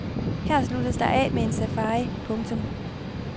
Her sluttes der af med en safari. punktum